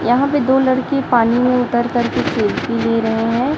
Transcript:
यहां पे दो लड़के पानी में उतर कर के खेलती ले रहे हैं।